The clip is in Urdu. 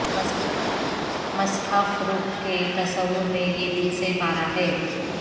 مصحف رخ کے تصور میں یہ دل سے پارہ ہے